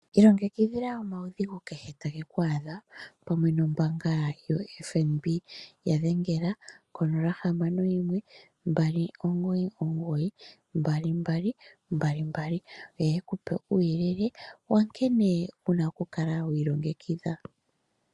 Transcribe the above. Ilongekidhila omaudhigu kehe tageku adha pamwe nombaanga yoFNB. Yadhengela konola hamano yimwe mbali omugoyi omugoyi mbali mbali mbali mbali yo yekupe uuyelele wankene wuna okukala wiilongekidha.